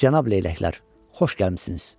Cənab leyləklər, xoş gəlmisiniz.